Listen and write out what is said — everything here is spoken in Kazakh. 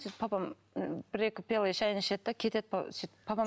сөйтіп папам бір екі пиала шәйін ішеді де кетеді папа сөйтіп папам